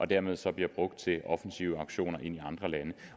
dermed så bliver brugt til offensive aktioner i andre lande